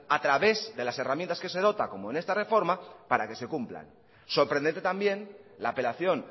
a través de las herramientas que se dota como en esta reforma para que se cumplan sorprendente también la apelación